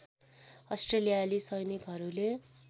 अस्ट्रेलियाली सैनिकहरूले